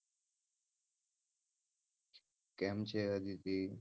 કેમ છે આદિતી?